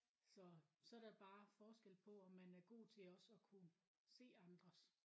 Så så er der bare forskel på om man er god til også at kunne se andres